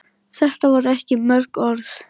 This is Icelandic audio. Þetta voru ekki mörg orð.